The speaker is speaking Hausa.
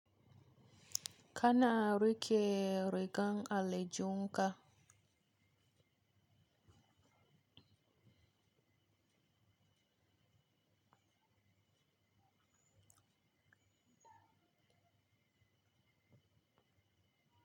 Kana rike rigar aljihun ka.